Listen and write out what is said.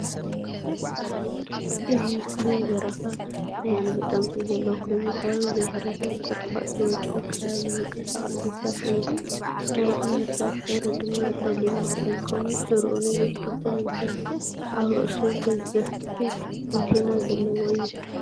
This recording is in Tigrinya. እዚ ምስሊ ናይ በረኻ ናይ ኣንበጣ ምስሊ ዘለዎ ኮይኑ ኣብ ዘይሕረስን ቆጥቓጥ ዝበዝሖ ከባብን ዝንቀሳቐስ ነፍሳት እዩ። ንኣይዚ ነፍሳት ሕብሪ ድማ ጸሊምን ብጫን ኮይኑ ጭርኡ ነዊሕ ክልተ መንፈር ኣብ ርእሱ ገዘፍቲ ኣንቴና ዘለዎ እዩ።